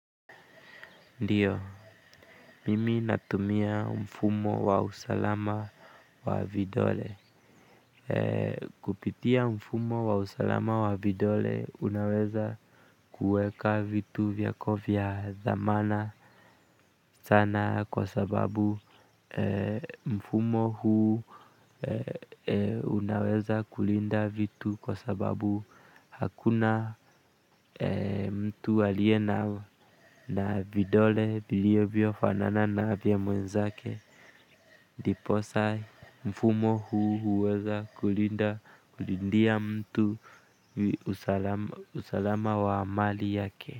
Ndiyo, mimi natumia mfumo wa usalama wa vidole kupitia mfumo wa usalama wa vidole unaweza kuweka vitu vyako vya dhamana sana kwa sababu mfumo huu unaweza kulinda vitu kwa sababu hakuna mtu aliye na vidole vilivyofanana na vya mwenzake ndiposa mfumo huu huweza kulindia mtu usalama wa mali yake.